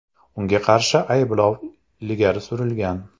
Unga qarshi ayblov ilgari surilgan.